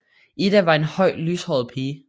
Ida var en høj lyshåret pige